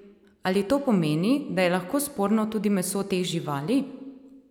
Ali to pomeni, da je lahko sporno tudi meso teh živali?